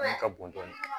ka bon dɔɔnin